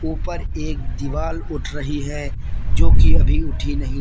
ऊपर एक दीवार उठ रही है जो कि अभी उठी नहीं--